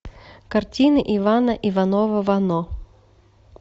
картины ивана иванова вано